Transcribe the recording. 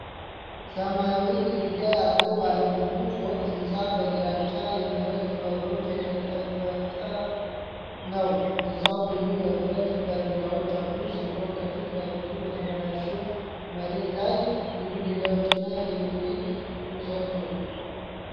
ሰማያዊ ግድግዳ ያለው፣ ባለብዙ ፎቅ ሕንፃ በግራጫ የብረት በሮች የተጠበቀ ነው። ሕንፃው ብዙ የብረት በረንዳዎች ያሉት ሲሆን፣ ከፊት ለፊቱ በተበላሸ መሬት ላይ ብዙ ድንጋዮችና የኤሌክትሪክ ምሰሶ ።